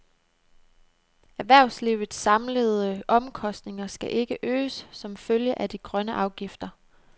Erhvervslivets samlede omkostninger skal ikke øges som følge af de grønne afgifter.